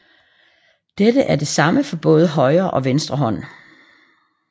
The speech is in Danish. Dette er det samme både for højre og venstre hånd